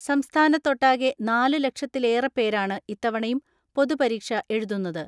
സംസ്ഥാനത്തൊട്ടാകെ നാലുലക്ഷത്തിലേറെപ്പേരാണ് ഇത്തവണയും പൊതു പരീക്ഷ എഴുതുന്നത്.